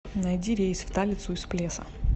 найди рейс в талицу из плеса